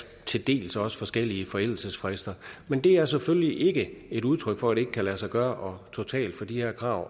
til dels også forskellige forældelsesfrister men det er selvfølgelig ikke et udtryk for at det ikke kan lade sig gøre totalt for de her krav